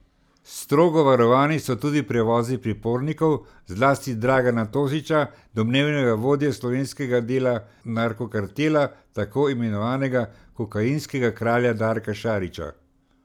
Strogo varovani so tudi prevozi pripornikov, zlasti Dragana Tošića, domnevnega vodje slovenskega dela narkokartela tako imenovanega kokainskega kralja Darka Šarića.